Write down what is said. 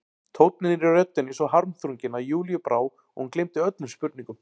Tónninn í röddinni svo harmþrunginn að Júlíu brá og hún gleymdi öllum spurningum.